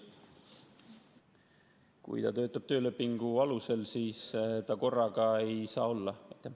Kui ta töötab töölepingu alusel, siis ta korraga mõlemat olla ei saa.